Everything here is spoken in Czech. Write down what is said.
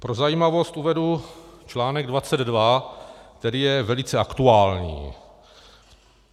Pro zajímavost uvedu článek 22, který je velice aktuální.